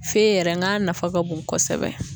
Feye yɛrɛ ng'a nafa ka bon kosɛbɛ.